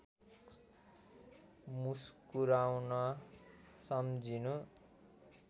मुस्कुराउन सम्झिनु